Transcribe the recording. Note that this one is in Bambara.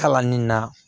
Kalanni na